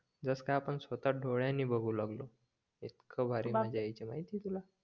जस काय आपण स्वतः डोळ्यांनी बगु लागलो इतकं भारी द्यायचे माहिते तुला